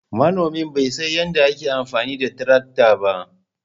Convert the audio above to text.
Manomi bai san yadda ake amfani da tarakta ba.